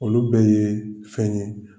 Olu bɛɛ ye fɛn ye